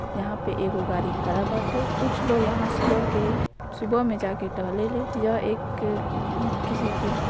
यहाँ पर एगो गाड़ी खड़ा बाटे कुछ लोग यहाँ सुबह के सुबह में जाके टहले ले यह एक किसी की --